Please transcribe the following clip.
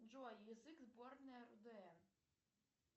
джой язык сборная рудн